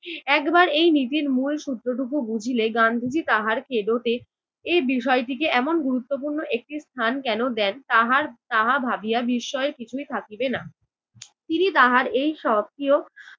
একবার এই নীতির মূল সূত্রটুকু বুঝিলেই গান্ধীজি তাহার কেদোতে এই বিষয়টিকে এমন গুরুত্বপূর্ণ একটি স্থান কেন দেন তাহার তাহা ভাবিয়া বিস্ময়ের কিছুই থাকিবে না। তিনি তাহার এই সক্রিয়